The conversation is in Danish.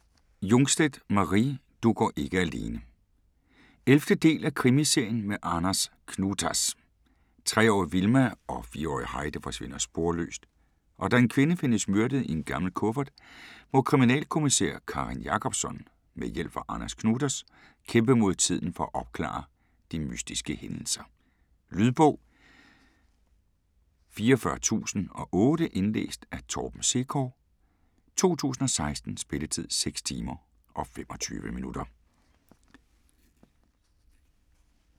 Jungstedt, Mari: Du går ikke alene 11. del af Krimiserien med Anders Knutas. Tre-årige Vilma og fire-årige Heidi forsvinder sporløst og da en kvinde findes myrdet i en gammel kuffert, må kriminalkommissær Karin Jacobsson med hjælp fra Anders Knutas kæmpe mod tiden for at opklare de mystiske hændelser. Lydbog 44008 Indlæst af Torben Sekov, 2016. Spilletid: 6 timer, 25 minutter.